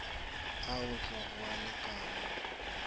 a otlwa go a lekanwa